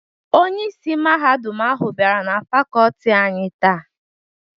Onyeisi Mahadum ahụ bịara na Fakọlti anyị táá.